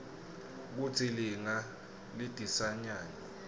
kutsi linga lidhisanyani